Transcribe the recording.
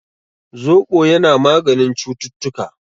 Zobo yana maganin cututtuka